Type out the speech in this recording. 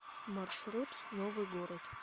маршрут новый город